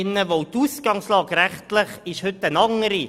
Denn die rechtliche Ausgangslage ist heute eine andere.